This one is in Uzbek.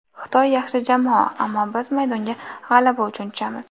Xitoy yaxshi jamoa, ammo biz maydonga g‘alaba uchun tushamiz”.